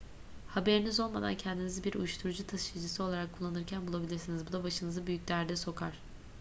haberiniz olmadan kendinizi bir uyuşturucu taşıyıcısı olarak kullanılırken bulabilirsiniz bu da başınızı büyük derde sokar